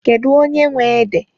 Kedụ onye nwe ede?